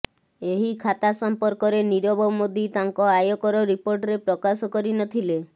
ଏହି ଖାତା ସମ୍ପର୍କରେ ନୀରବ ମୋଦି ତାଙ୍କ ଆୟକର ରିପୋର୍ଟରେ ପ୍ରକାଶ କରି ନଥିଲେ